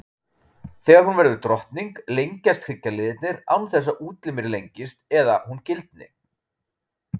Þegar hún verður drottning, lengjast hryggjarliðirnir án þess að útlimir lengist eða hún gildni.